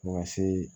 Fo ka se